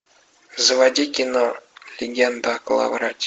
заводи кино легенда о коловрате